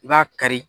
I b'a kari